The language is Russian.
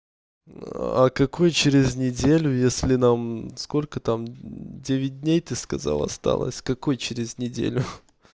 а какой через неделю если нам сколько там девять дней ты сказал осталось какой через неделю